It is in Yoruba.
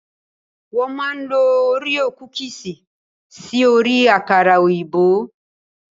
Wọ́n máa ń lo oríò kukùsì sí orí àkàrà òyìnbó.